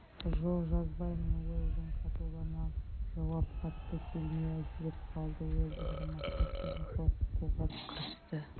жоқ жазбаймын уэлдон қатулана жауап қатты келмей әлсіреп қалды уэлдонды мақсат сөзін қорқытуға кірісті